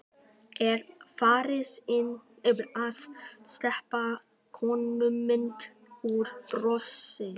Er farin að steypa konumynd úr bronsi.